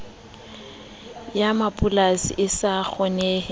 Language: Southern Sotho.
ya mapolasi e sa kgoneng